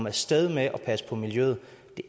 af sted med at passe på miljøet